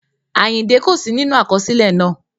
Àyìndẹ́ kò sí nínú àkọsílẹ̀ náà